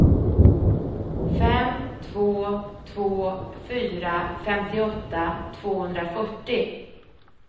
fem två två fyra femtioåtta tvåhundrafyrtio